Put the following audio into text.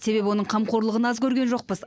себебі оның қамқорлығын аз көрген жоқпыз